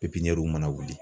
ma na wuli